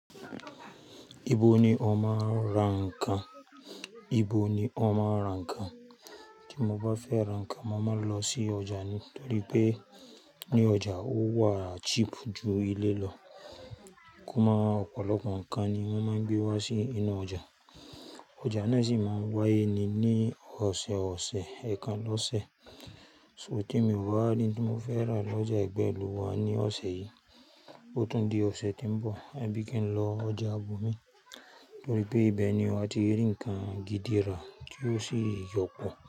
Ibo ni ó máa ń ra nǹkan? Ibo ni wọ́n máa ń ra nǹkan? Tí mo bá fẹ́ ra nǹkan, mo máa ń lọ sí ọjà nítorí pé ní ọjà, ó wà cheap jù ilé lọ. Kó máa Ọ̀pọ̀lọpọ̀ nǹkan ni wọ́n máa ń gbé wá sí inú ọjà. Ọjà náà sì máa ń wáyé ní ọ̀sẹ̀ọ̀sẹ̀, ẹ̀ẹ̀kan lọṣẹ̀. So tí mi ò bá rí ohun tí mo fẹ́ rà lọ́jà ẹgbẹ́ ìlú wà ní ọ̀sẹ̀ yìí, ó tún di ọ̀sẹ̀ tí ń bọ̀, abí kì ń lọ ọjà ibòmí torí pé ibẹ̀ ni wa ti rí nǹkan gidi rà tí ó sì yọpọ̀.